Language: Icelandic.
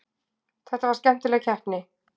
Þetta var skemmtileg keppni.